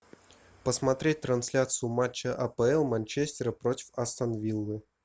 посмотреть трансляцию матча апл манчестер против астон виллы